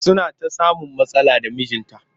Suna ta samun matsala da mijinta